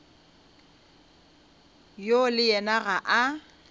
yo le yena ga a